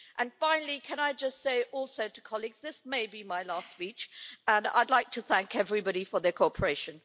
And finally, can I just say also to colleagues that this may be my last speech and I'd like to thank everybody for their cooperation.